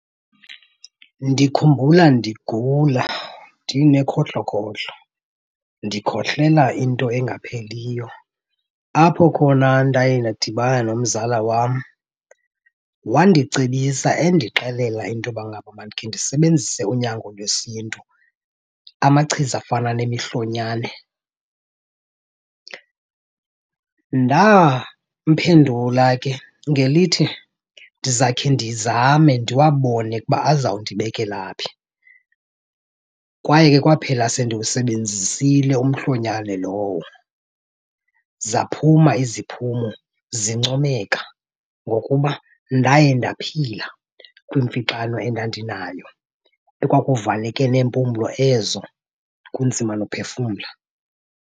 Ndikhumbula ndigula ndinekhohlokhohlo ndikhohlela into engapheliyo, apho khona ndaye ndadibana nomzala wam wandicebisa endixelela into yoba ngaba mandikhe ndisebenzise unyango lwesiNtu, amachiza afana nemihlonyane. Ndamphendula ke ngelithi ndizakhe ndizame ndiwabone ukuba azawundibekela phi. Kwaye ke kwaphela sendiwusebenzisile umhlonyane lowo. Zaphuma iziphumo zincomeka ngokuba ndaye ndaphila kwimfixano endandinayo ekwakuvaleke neempumlo ezo kunzima nophefumla.